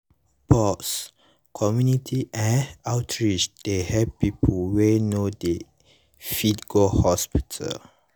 pause - community eh outreach dey help people wey no dey fit go hospital.